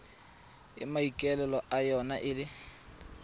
e maikaelelo a yona e